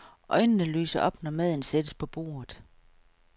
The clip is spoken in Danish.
Øjnene lyser op, når maden sættes på bordet.